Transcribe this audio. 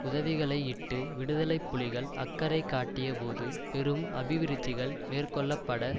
உதவிகளையிட்டு விடுதலை புலிகள் அக்கறை காட்டியபோது பெரும் அபிவிருத்திகள் மேற்கொள்ள பட